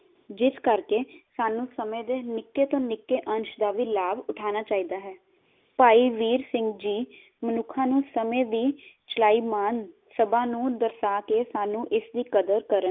ਜਿਸ ਕਰਕੇ ਸਾਨੂੰ ਸਮੇ ਦੇ ਨਿੱਕੇ ਤੋਂ ਨਿੱਕੇ ਅੰਸ਼ ਦਾ ਲਾਭ ਉਠਾਉਣਾ ਚਾਹੀਦਾ ਹੈ। ਭਾਈ ਵੀਰ ਸਿੰਘ ਜੀ ਮਨੁੱਖਾਂ ਨੂੰ ਸਮੇਂ ਦੀ ਚਲਾਈ ਮਾਨ ਸਭਾ ਨੂੰ ਦਰਸਾ ਕੇ ਸਾਨੂੰ ਇਸ ਦੀ ਕਦਰ ਕਰਨ